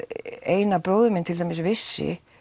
Einar bróðir minn til dæmis vissi